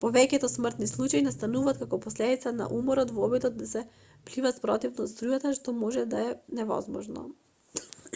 повеќето смртни случаи настануваат како последица од уморот во обидот да се плива спротивно од струјата што може да е невозможно